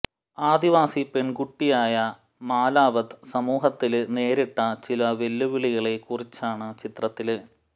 ആദിവാസി പെണ്കുട്ടിയായ മലാവത് സമൂഹത്തില് നേരിട്ട ചില വെല്ലുവിളികളെ കുറിച്ചാണ് ചിത്രത്തില്